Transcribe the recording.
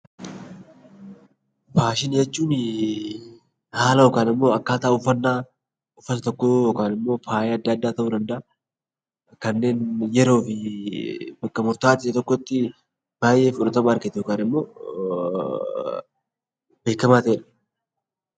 Faashinii jechuun haala yookaan akkaataa uffannaa uffata tokkoo yookaan faaya adda addaa ta'uu danda'a. Kanneen yeroo fi bakka murtaa'aa ta'e tokkotti baay'ee fudhatama argate yookaan immoo beekamaa ta'edha.